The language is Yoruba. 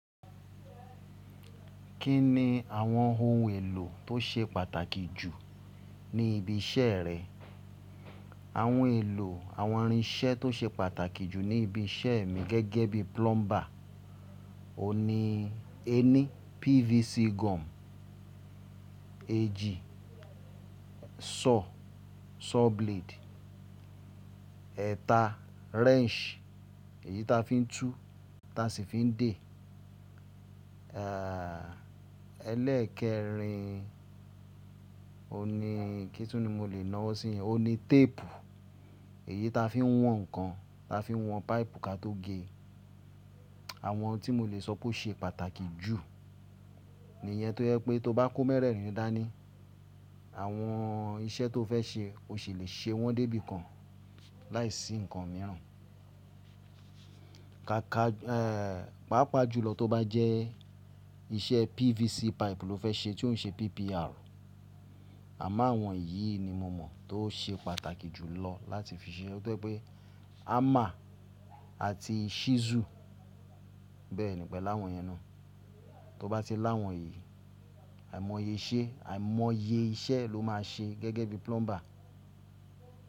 Kí ni àwọn ohun èlò tó ṣe pàtàkì jù ní ibi iṣẹ́ rẹ? Àwọn èlò àwọn irinṣẹ́ tó ṣe pàtàkì jù ní ibi iṣẹ́ mi gẹ́gẹ́ bí plumber, òhun ni ẹní PVC gum, eéjì saw, saw blade, ẹ̀ta wrench èyí ta fi ń tú ta sì fi ń dè, ẹ́lẹ̀ẹ́kerin òní kí ni mo lè náwọ́ sí yẹn? Òní tape èyí ta fi ń wọn nǹkan ta fi ń wọn páìpù ka tó ge. Àwọn tí mo lè sọ pé ó ṣe pàtàkì jù ní ìyẹn tó yẹ pé tó bá kó mẹ́rẹ̀ẹ̀rin dání àwọn iṣẹ́ tó fẹ́ ṣe o sì lè ṣe wọ́n débi kan láìsí nǹkan mìíràn. Ka ka, pàápàá jùlọ tó bá jẹ́ iṣẹ́ PVC pipe lo fẹ́ ṣe tí òun ṣe PPR. Àmo awon yìí ni mo mọ̀ tó ṣe pàtàkì jùlọ láti fi ṣe. Ó yẹ pé hammer àti chisel bẹ́ẹ̀ nìyẹn pẹ̀lú àwọn èyẹn náà. Tó bá ti láwọn yìí àìmọye iṣẹ́, àìmọye iṣẹ́ lo máa ṣe gẹ́gẹ́ bí plumber.